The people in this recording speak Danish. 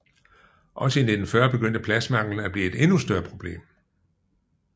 Også i 1940 begyndte pladsmanglen at blive et endnu større problem